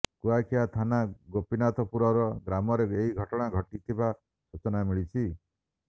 କୁଆଖିଆ ଥାନା ଗୋପୀନାଥପୁର ଗ୍ରାମରେ ଏହି ଘଟଣା ଘଟିଥିବା ସୂଚନା ମିଳିଛି